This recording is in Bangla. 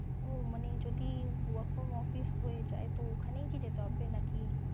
ও মানে যদি work from office যায় তো ওখানেই কি যেতে হবে নাকি?